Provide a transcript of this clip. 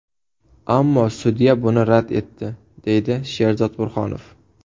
Ammo sudya buni rad etdi, deydi Sherzod Burhonov.